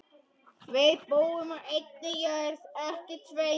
Við búum á einni jörð.